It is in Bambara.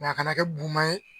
a kana kɛ buma ye.